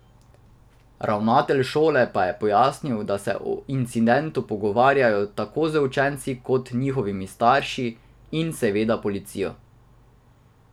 Ravnatelj šole pa je pojasnil, da se o incidentu pogovarjajo tako z učenci kot njihovimi starši in seveda policijo.